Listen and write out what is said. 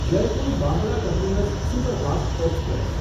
Jaipur Bandra terminus superfast express